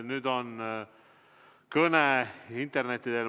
Nüüd on kõne interneti teel.